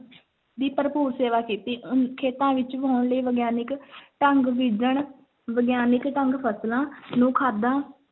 ਦੀ ਭਰਪੂਰ ਸੇਵਾ ਕੀਤੀ ਅਮ ਖੇਤਾਂ ਵਿੱਚ ਵਾਹੁਣ ਲਈ ਵਿਗਿਆਨਕ ਢੰਗ ਬੀਜਣ ਵਿਗਿਆਨਕ ਢੰਗ ਫਸਲਾਂ ਨੂੰ ਖਾਦਾਂ